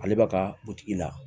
Ale b'a ka butigi la